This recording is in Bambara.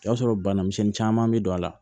O y'a sɔrɔ bana misɛnnin caman be don a la